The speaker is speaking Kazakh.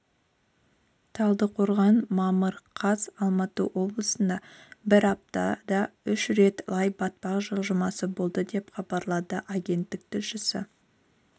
талдықорған мамыр қаз алматы облысында бір аптада үш рет лай-батпақ жылжымасы болды деп хабарлады агенттік тілшісі